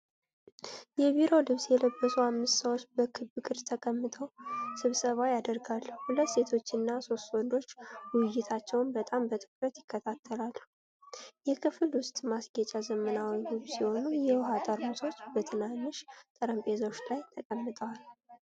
የቢሮ ልብስ የለበሱ አምስት ሰዎች በክብ ቅርጽ ተቀምጠው ስብሰባ ያደርጋሉ። ሁለት ሴቶችና ሦስት ወንዶች ውይይታቸውን በጣም በትኩረት ይከታተላሉ። የክፍሉ ውስጥ ማስጌጫ ዘመናዊና ውብ ሲሆን፣ የውሃ ጠርሙሶች በትናንሽ ጠረጴዛዎች ላይ ተቀምጠዋል።